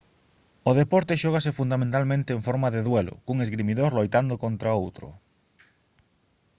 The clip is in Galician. o deporte xógase fundamentalmente en forma de duelo cun esgrimidor loitando contra outro